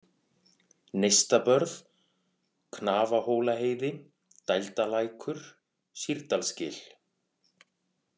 Neistabörð, Knafahólaheiði, Dældalækur, Sýrdalsgil